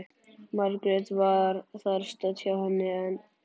Margrét var þar stödd hjá henni en